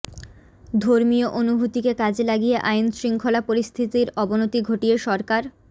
ধর্মীয় অনুভূতিকে কাজে লাগিয়ে আইনশৃঙ্খলা পরিস্থিতির অবনতি ঘটিয়ে সরকার